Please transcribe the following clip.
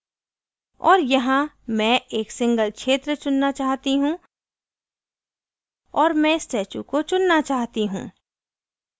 और यहाँ मैं एक single क्षेत्र चुनना चाहती हूँ और मैं स्टैचू को चुनना चाहती हूँ